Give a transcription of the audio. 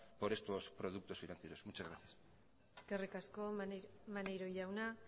por estos productos financieros muchas gracias eskerrik asko maneiro jauna